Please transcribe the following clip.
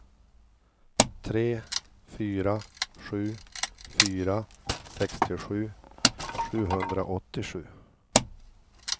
tre fyra sju fyra sextiosju sjuhundraåttiosju